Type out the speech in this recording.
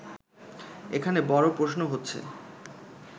এখানে বড় প্রশ্ন হচ্ছে